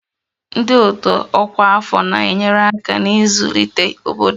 Ndị otu ọkwa afọ na-enyere aka n'ịzụlite obodo